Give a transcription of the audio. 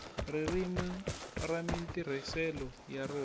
ririmi ni matirhiselo ya rona